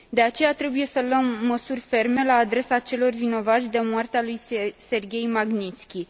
De aceea, trebuie să luăm măsuri ferme la adresa celor vinovați de moartea lui Serghei Magnițki.